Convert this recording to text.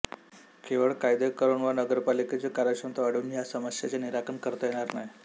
केवळ कायदे करून वा नगरपालिकेची कार्यक्षमता वाढवून या समस्येचे निराकरण करता येणार नाही